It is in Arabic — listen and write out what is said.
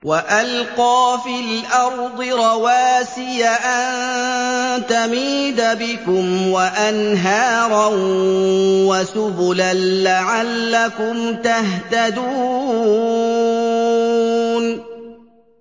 وَأَلْقَىٰ فِي الْأَرْضِ رَوَاسِيَ أَن تَمِيدَ بِكُمْ وَأَنْهَارًا وَسُبُلًا لَّعَلَّكُمْ تَهْتَدُونَ